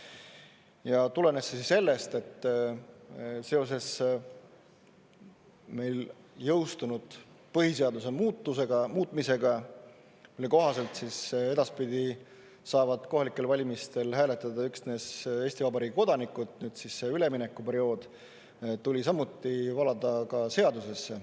Ja tulenes see sellest, et seoses meil jõustunud põhiseaduse muutmisega, mille kohaselt edaspidi saavad kohalikel valimistel hääletada üksnes Eesti Vabariigi kodanikud, see üleminekuperiood tuli samuti valada ka seadusesse.